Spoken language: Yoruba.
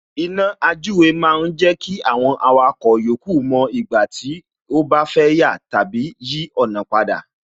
Iná àjúwe ma ń jẹ́ kí àwọn awakọ̀ yòókù mo ìgbà tí ó bá fẹ́ yà tàbí yí ọ̀nà padà